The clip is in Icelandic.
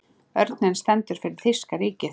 Örninn stendur fyrir þýska ríkið.